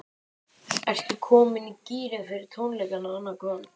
Ertu komin í gírinn fyrir tónleikana annað kvöld?